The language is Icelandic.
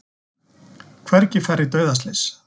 Hvergi færri dauðaslys